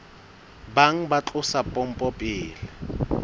bang ba tlosa pompo pele